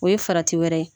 O ye farati wɛrɛ ye